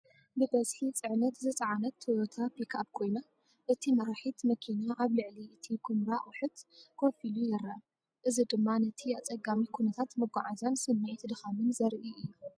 ብብዝሒ ጽዕነት ዝጸዓነት ቶዮታ ፒክኣፕ ኮይና፡ እቲ መራሒ መኪና ኣብ ልዕሊ እቲ ኵምራ ኣቑሑት ኮፍ ኢሉ ይረአ። እዚ ድማ ነቲ ኣጸጋሚ ኩነታት መጓዓዝያን ስምዒት ድኻምን ዘርኢ እዩ።